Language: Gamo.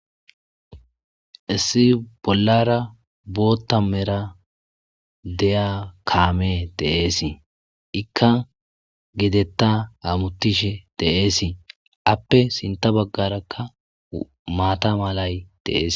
Issi bollara bootta mera deya kaame deeesi ikka gidetta amuttishe deeesi appe sinta baggarakka maata malay deees.